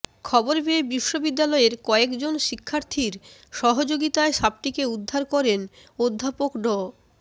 খবর পেয়ে বিশ্ববিদ্যালয়ের কয়েকজন শিক্ষার্থীর সহযোগিতায় সাপটিকে উদ্ধার করেন অধ্যাপক ড